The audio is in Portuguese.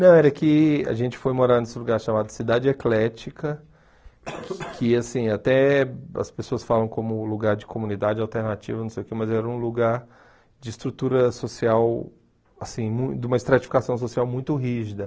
Não, era que a gente foi morar nesse lugar chamado Cidade Eclética, que, assim, até as pessoas falam como lugar de comunidade alternativa, não sei o que, mas era um lugar de estrutura social, assim mui, de uma estratificação social muito rígida.